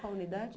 Qual a unidade?